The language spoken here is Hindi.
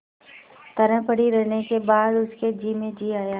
तरह पड़ी रहने के बाद उसके जी में जी आया